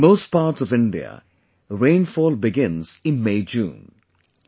In most parts of India, rainfall begins in MayJune